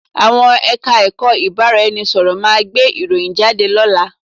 Àwọn Ẹ̀ka-ẹ̀kọ́ ìbárá-ẹni-sọ̀rọ̀ máa gbé ìròyìn jáde lọ́la